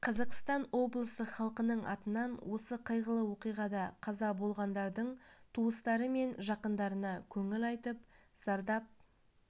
қазақстан облысы халқының атынан осы қайғылы оқиғада қаза болғандардың туыстары мен жақындарына көңіл айтып зардап